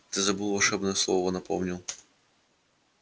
ты забыл волшебное слово напомнил